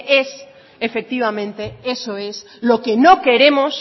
es efectivamente lo que no queremos